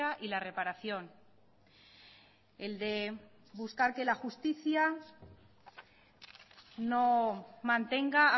y la reparación el de buscar que la justicia no mantenga